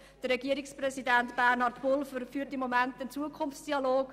Herr Regierungspräsident Bernhard Pulver führt im Moment einen Zukunftsdialog.